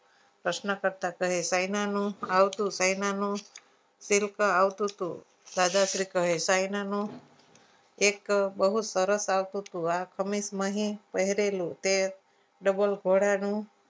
પ્રશ્નકર્તા કહે છે કહીનો નું આવતું કંઈનું silk આવતું હતું દાદાશ્રી કહે ક્યારનોનું એક બહુ સરસ આવતું હતું આ ખમી જ માંથી પહેરેલું તે ડબલ ઘોડાનું